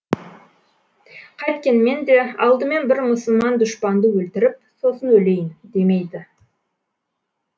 қайткенмен де алдымен бір мұсылман дұшпанды өлтіріп сосын өлейін демейді